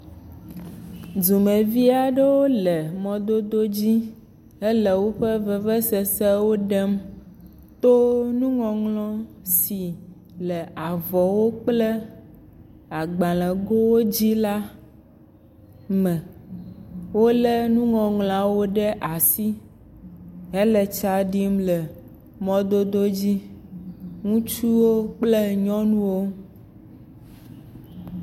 Dumevi aɖewo le mɔdodo dzi hele woƒe vevesesewo ɖem to nuŋɔŋlɔ si le avɔwo kple agbalẽgowo dzi la me. Wolé nuŋɔŋlɔawo ɖe asi hele tsa ɖim le mɔdodo dzi, ŋutsuwo kple nyɔnuwo.